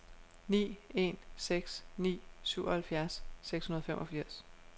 ni en seks ni syvoghalvfjerds seks hundrede og femogfirs